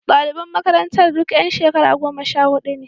Daliban makarantar duk yan shekara goma sha hudu ne.